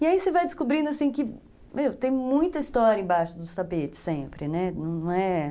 E aí você vai descobrindo que, meu, tem muita história embaixo dos tapetes sempre.